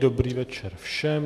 Dobrý večer všem.